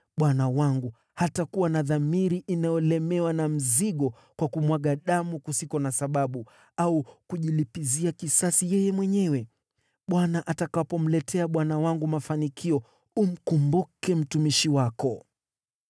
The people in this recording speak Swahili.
bwana wangu hatakuwa na dhamiri inayolemewa na mzigo kwa kumwaga damu kusiko na sababu, au kujilipizia kisasi yeye mwenyewe. Bwana atakapomletea bwana wangu mafanikio, umkumbuke mtumishi wako.”